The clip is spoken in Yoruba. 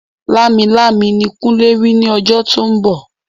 Lámilámi ni kunle rí ní ọjọ́ tí ó ń bọ̀